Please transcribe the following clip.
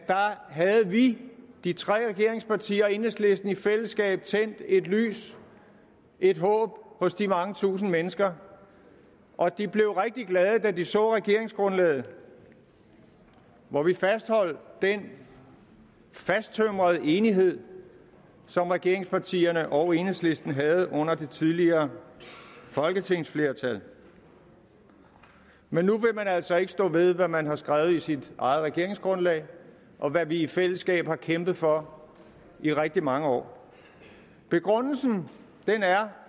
havde vi de tre regeringspartier og enhedslisten i fællesskab tændt et lys et håb hos de mange tusinde mennesker og de blev rigtig glade da de så regeringsgrundlaget hvor vi fastholdt den fasttømrede enighed som regeringspartierne og enhedslisten havde under det tidligere folketingsflertal men nu vil man altså ikke stå ved hvad man har skrevet i sit eget regeringsgrundlag og hvad vi i fællesskab har kæmpet for i rigtig mange år begrundelsen er